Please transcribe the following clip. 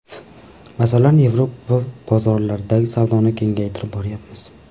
Masalan, Yevropa bozorlaridagi savdoni kengaytirib boryapmiz.